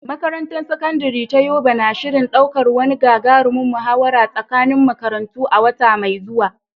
Makarantar Sakandare ta Yobe na shirin ɗaukar wani gagarumin muhawara tsakanin makarantu a wata mai zuwa.